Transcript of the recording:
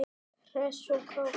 Hress og kát.